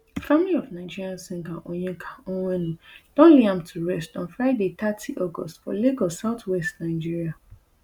family of nigerian singer onyeka onwenu don lay am to rest on friday thirty august for lagos southwest nigeria